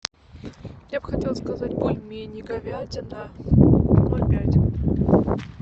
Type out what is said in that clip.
я бы хотела заказать бульмени говядина ноль пять